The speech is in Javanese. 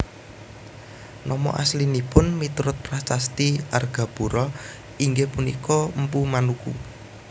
Nama aslinipun miturut prasasti Argapura inggih punika Mpu Manuku